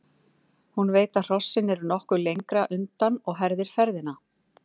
Hún veit að hrossin eru nokkuð lengra undan og herðir ferðina.